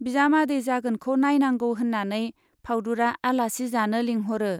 बिजामादै जागोनखौ नाइनांगौ होन्नानै फाउदुरा आलासि जानो लिंहरो।